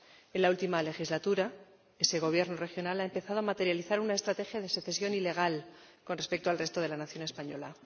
En la última legislatura, ese Gobierno regional empezó a materializar una estrategia de secesión ilegal con respecto al resto de la nación española.